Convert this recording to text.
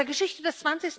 Aus der Geschichte des